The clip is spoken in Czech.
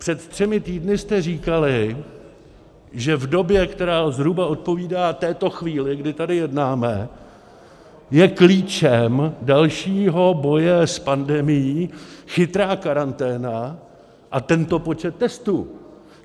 Před třemi týdny jste říkali, že v době, která zhruba odpovídá této chvíli, kdy tady jednáme, je klíčem dalšího boje s pandemií chytrá karanténa a tento počet testů.